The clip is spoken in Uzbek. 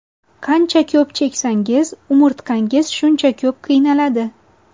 Qancha ko‘p cheksangiz umurtqangiz shuncha ko‘p qiynaladi.